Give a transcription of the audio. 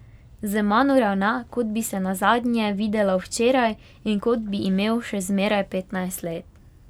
Z mano ravna, kot bi se nazadnje videla včeraj in kot bi imel še zmeraj petnajst let.